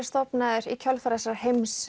stofnaður í kjölfar þessarar